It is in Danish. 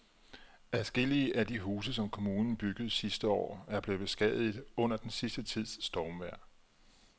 Adskillige af de huse, som kommunen byggede sidste år, er blevet beskadiget under den sidste tids stormvejr.